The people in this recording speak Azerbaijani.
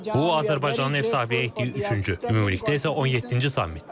Bu, Azərbaycanın ev sahibliyi etdiyi üçüncü, ümumilikdə isə 17-ci sammitdir.